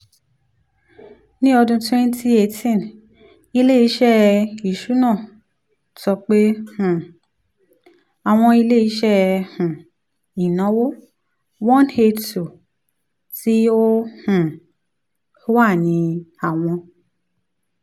ni ọdun twenty eighteen ile-iṣẹ iṣuna sọ pe um awọn ile-iṣẹ um inawo one hundred eighty two ti o um wa ni awọn